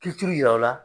Ki t'i yira o la